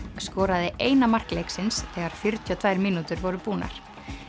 skoraði eina mark leiksins þegar fjörutíu og tvær mínútur voru búnar